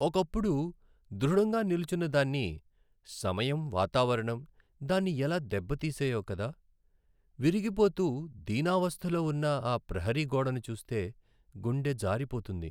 ఒకప్పుడు దృఢంగా నిల్చున్నదాన్ని, సమయం, వాతావరణం దాన్ని ఎలా దెబ్బతీసాయో కదా! విరిగిపోతూ దీనావస్థలో ఉన్న ఆ ప్రహరీ గోడను చూస్తే గుండె జారిపోతుంది.